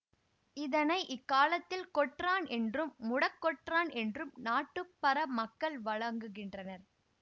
இதனை இக்காலத்தில் கொற்றான் என்றும் முடக்கொற்றான் என்றும் நாட்டுப்பற மக்கள் வழங்குகின்றனர்